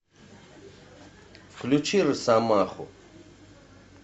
включи росомаху